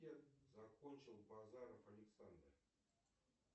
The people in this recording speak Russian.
закончил базаров александр